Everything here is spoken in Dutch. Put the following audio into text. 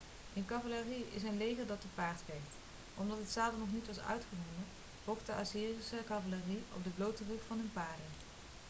een cavalerie is een leger dat te paard vecht omdat het zadel nog niet was uitgevonden vocht de assyrische cavalerie op de blote rug van hun paarden